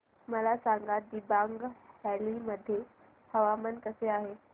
मला सांगा दिबांग व्हॅली मध्ये हवामान कसे आहे